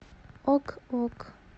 ок ок